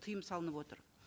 тыйым салынып отыр